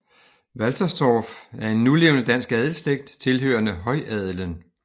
Walterstorff er en nulevende dansk adelsslægt tilhørende højadelen